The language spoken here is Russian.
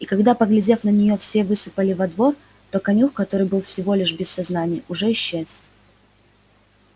и когда поглядев на неё все высыпали во двор то конюх который был всего лишь без сознания уже исчез